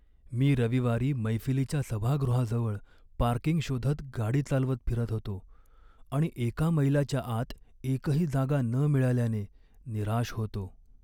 मी रविवारी मैफिलीच्या सभागृहाजवळ पार्किंग शोधत गाडी चालवत फिरत होतो आणि एका मैलाच्या आत एकही जागा न मिळाल्याने निराश होतो.